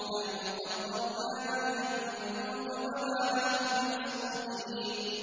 نَحْنُ قَدَّرْنَا بَيْنَكُمُ الْمَوْتَ وَمَا نَحْنُ بِمَسْبُوقِينَ